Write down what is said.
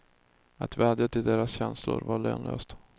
Att vädja till deras känslor var lönlöst.